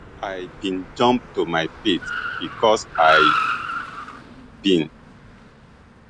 i bin jump to my feet becos i bin